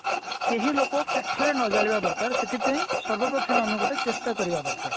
କେହି ଲୋକ କାଠ ରେ ନ ଜାଳିବା ଦରକାର ସେଥି ପେଇଁ ସର୍ବପ୍ରଥମେ ଆମେ ଗୋଟେ ଚେଷ୍ଟା କରିବା ଦରକାର